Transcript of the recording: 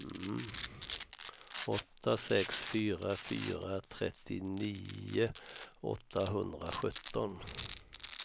åtta sex fyra fyra trettionio åttahundrasjutton